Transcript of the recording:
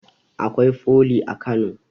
Akwai foli a kano